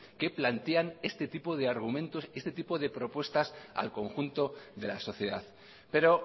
que plantean este tipo de argumentos este tipo de propuestas al conjunto de la sociedad pero